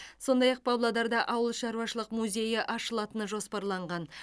сондай ақ павлодарда ауылшаруашылық музейі ашылатыны жоспарланған